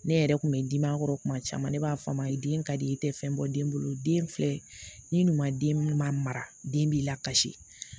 Ne yɛrɛ kun bɛ dimi a kɔrɔ kuma caman ne b'a fɔ a ma ye den ka di i tɛ fɛn bɔ den bolo den filɛ ni ɲuman den minnu ma mara den b'i la kasi